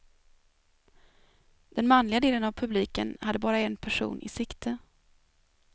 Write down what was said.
Den manliga delen av publiken hade bara en person i sikte.